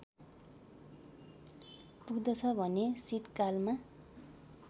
पुग्दछ भने शीतकालमा